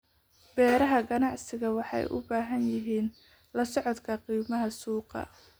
Beeraha ganacsigu waxay u baahan yihiin la socodka qiimaha suuqa.